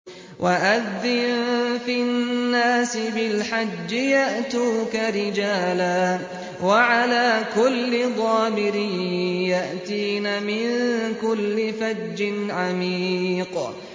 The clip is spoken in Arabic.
وَأَذِّن فِي النَّاسِ بِالْحَجِّ يَأْتُوكَ رِجَالًا وَعَلَىٰ كُلِّ ضَامِرٍ يَأْتِينَ مِن كُلِّ فَجٍّ عَمِيقٍ